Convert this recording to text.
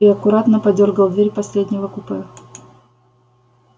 и аккуратно подёргал дверь последнего купе